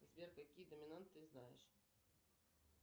сбер какие доминанты ты знаешь